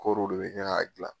Kɔɔriw de bɛ kɛ k'a dilan.